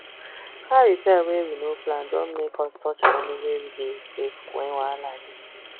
car repair wey we no plan don make us touch money wey we dey save when wahala dey